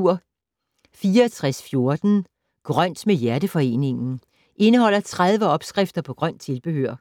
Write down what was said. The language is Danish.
64.14 Grønt med Hjerteforeningen Indeholder 30 opskrifter på grønt tilbehør.